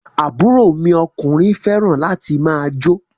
Àbúrò mi ọkùnrin fẹràn láti máà jó.